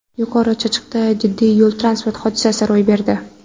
Yuqori Chirchiqda jiddiy yo‘l-transport hodisasi ro‘y berdi.